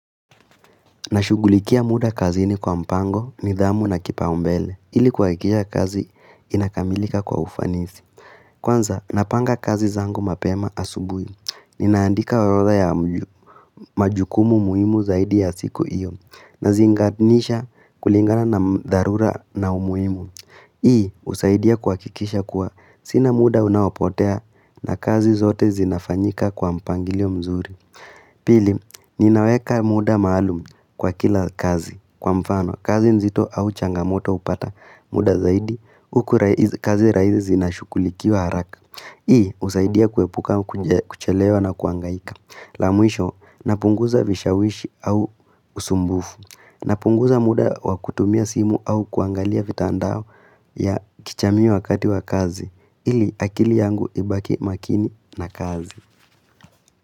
Nashugulikia muda kazini kwa mpango ni dhamu na kipa umbele ili kwa kikisha kazi inakamilika kwa ufanisi. Kwanza napanga kazi zangu mapema asubui. Ninaandika waroda ya majukumu muimu zaidi ya siku iyo na zinganisha kulingana na dharura na umuimu. Hii usaidia kuhakikisha kuwa sina muda unapotea na kazi zote zinafanyika kwa mpangilio mzuri. Pili, ninaweka muda maalum kwa kila kazi. Kwa mfano, kazi nzito au changamoto upata muda zaidi, kazi raizi zinashukulikiwa haraka. Hii, usaidia kuepuka kuchelewa na kuangaika. Lamwisho, napunguza vishawishi au usumbufu. Napunguza muda wakutumia simu au kuangalia vitandao ya kichami wakati wa kazi. Ili akili yangu ibaki makini na kazi.